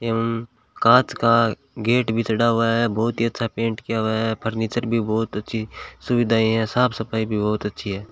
एवं कांच का गेट भी चढ़ा हुआ है बहुत ही अच्छा पेंट किया हुआ है फर्नीचर भी बहुत अच्छी सुविधाएं हैं साफ सफाई भी बहुत अच्छी है।